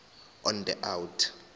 on the out